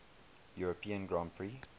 european grand prix